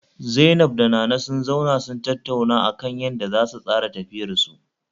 Zainab da Nana sun zauna suna tattaunawa akan yanda zasu tsara tafiyarsu